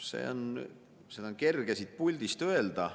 Seda on kerge siit puldist öelda.